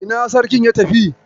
Ina Sarkin ya tafi?